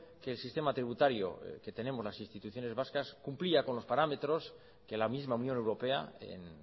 que el sistema tributario que tenemos las instituciones vascas cumplía con los parámetros que la misma unión europea en